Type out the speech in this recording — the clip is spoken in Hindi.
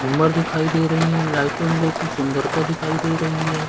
झूमर दिखाई दे रहै है लइटिगो की सुंदरता दिखाई दे रही है।